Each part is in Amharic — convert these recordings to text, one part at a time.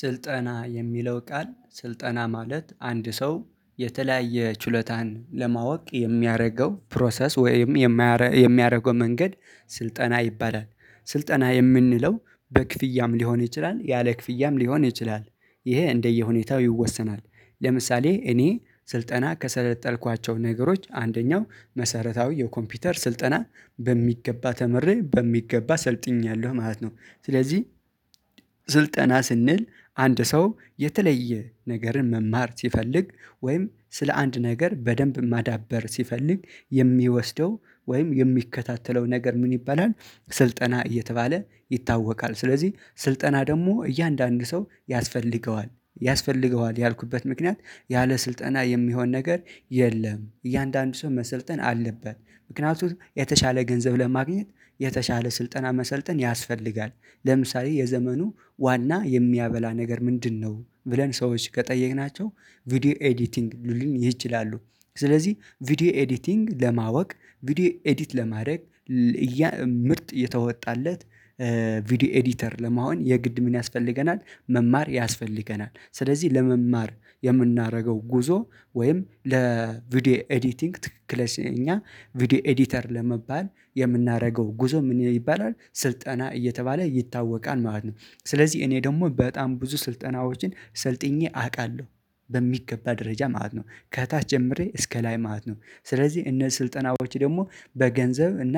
ስልጠና የሚለው ቃል ስልጠና ማለት አንድ ሰው የተለያየ ችሎታን ለማወቅ የሚያደርገው ፕሮሰስ ወይም የማ የሚያደርገው መንገድ ስልጠና ይባላል። ስልጠና የምንለው በክፍያም ሊሆን ይችላል ያለ ክፍያም ሊሆን ይችላል ይሄ እንደየሁኔታው ይወሰናል። ለምሳሌ እኔ ስልጠና ከሰለጠልኳቸው ነገሮች አንደኛው መሰረታዊ የኮምፒውተር ስልጠና በሚገባ ተምሬ በሚገባ ስልጥኜያለው ማለት ነው ስለዚህ ስልጠና ስንል አንድ ሰው የተለየ ነገርን መማር ሲፈልግ ወይም ስለ አንድ ነገር በደንብ ማዳበር ሲፈልግ የሚወስደው ወይም የሚከታተለው ነገር ምን ይባላል? ስልጠና እየተባለ ይታወቃል ስለዚህ ስልጠና ደግሞ እያንዳንዱ ሰው ያስፈልገዋል። ያስፈልገዋል ያልኩበት ምክንያት ያለ ስልጠና የሚሆን ነገር የለም እያንዳንዱ ሰው መሰልጠን አለበት። ምክንያቱም የተሻለ ገንዘብ ለማግኘት የተሻለ ስልጠና መሰልጠን ያስፈልጋል። ለምሳሌ የዘመኑ ዋና የሚያበላ ነገር ምንድነው ብለን ሰዎች ከጠየቅናቸው ቪዲዮ ኤዲቲንግ ልሉን ይችላሉ ስለዚህ ቪዲዮ ኤዲቲንግ ለማወቅ ቪዲዮ ኤዲት ለማድረግ አየ ምርጥ የተወጣለት ቪዲዮ ኤዲተር ለመሆን የግድ ምን ያስፈልገናል መማር ያስፈልገናል። ስለዚህ ለመማር የምናረገው ጉዞ ወይም ለቪዲዮ ኤዲቲንግ ትክክለኛ ቪዲዮ ኤዲተር ለመባል የምናረገው ጉዞ ምን ይባላል ስልጠና እየተባለ ይታወቃል ማለት ነው። ስለዚህ እኔ ደግሞ በጣም ብዙ ስልጠናዎችን ሰልጥኜ አቃለሁ በሚገባ ደረጃ ማለት ነው። ከታች ጀምሬ እስከ ላይ ማለት ነው ስለዚህ እነ ስልጠናዎች ደግሞ በገንዘብ እና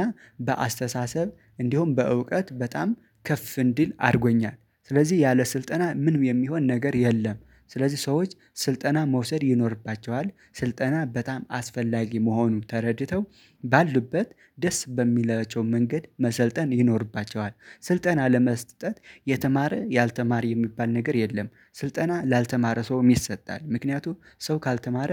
በአስተሳሰብ እንዲሁም በእውቀት በጣም ከፍ እንድል አርጎኛል ስለዚህ ያለ ስልጠና ምንም የሚሆን ነገር የለም። ስለዚህ ሰዎች ስልጠና መውሰድ ይኖርባቸዋል ስልጠና በጣም አስፈላጊ መሆኑን ተረድተው ባሉበት ደስ በሚላቸው መንገድ መሰልጠን ይኖርባቸዋል። ስልጠና ለመስጠት የተማረ ያልተማረ የሚባል ነገር የለም ስልጠና ላልተማረ ሰውም ይሰጣል። ምክንያቱም ሰው ካልተማረ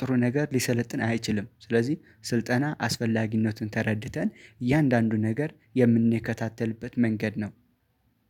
ጥሩ ነገር ሊሰለጥን አይችልም ስለዚህ ስልጠና አስፈላጊነትን ተረድተን እያንዳንዱ ነገር የምንከታተልበት መንገድ ነው።